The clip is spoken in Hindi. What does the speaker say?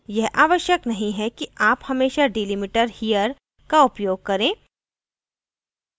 यह आवश्यक नहीं है कि आप हमेशा delimiter here का उपयोग करें